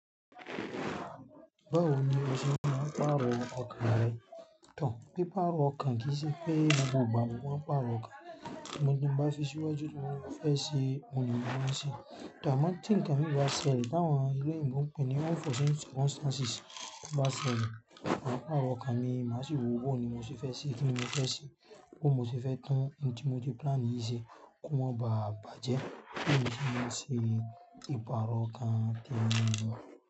Báwo ni o ṣe máa pààrọ̀ ọkàn rẹ pé pààrọ̀ ọkàn kí í ṣe pé ní gbogbo ìgbà gbogbo ni máa pààrọ̀ ọkàn tí mo ṣe bá fi síwájú tí mo fẹ́ ṣe, ohun lè mi máa ṣe tọ̀ àmọ́ tí ǹkan mi bá ṣẹlẹ̀, táwọn ẹlẹ́yìnbo pẹ́ ní unforeseen circumstances to bá ṣẹlẹ̀, máa pààrọ̀ ọkàn mi máa sì báwo ni mo ṣe fẹ́ ṣe kíni mo fẹ́ ṣe, báwo ni mo fẹ́ tún ohun tí mo ti plan yìí ṣe kó máa baà bàjẹ́ bí èmi ṣe máa ń ṣe ìpààrọ̀ ọkàn tèmi nìyẹn.